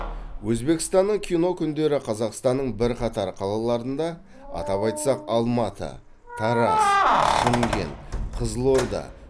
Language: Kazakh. өзбекстанның кино күндері қазақстанның бірқатар қалаларында атап айтсақ алматы тараз шымкент қызылорда